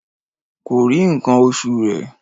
Kòrí ǹkan oṣù rẹ̀